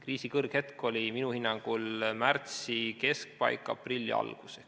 Kriisi kõrghetk oli minu hinnangul märtsi keskpaik – aprilli algus.